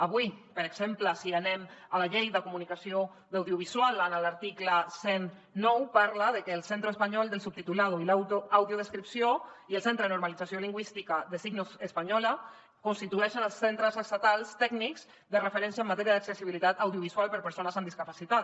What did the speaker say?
avui per exemple si anem a la llei de comunicació audiovisual en l’article cent i nou parla de que el centro español del subtitulado y la audiodescripción i el centro de normalización lingüística de la lengua de signos española constitueixen els centres estatals tècnics de referència en matèria d’accessibilitat audiovisual per a persones amb discapacitat